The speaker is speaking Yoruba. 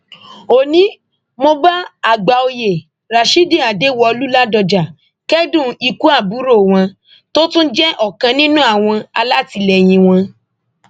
ó ní mo bá àgbàòye rashidi adéwọlú ládọjá kẹdùn ikú àbúrò wọn tó tún jẹ ọkan nínú àwọn alátìlẹyìn wọn